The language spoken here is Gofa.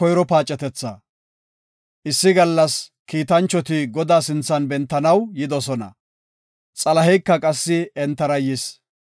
Issi gallas kiitanchoti Godaa sinthan bentanaw yidosona; Xalaheyka qassi entara yis.